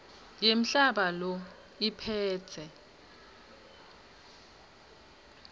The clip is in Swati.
yemhlaba who iphetse